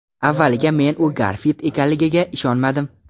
Avvaliga men u Garfild ekanligiga ishonmadim.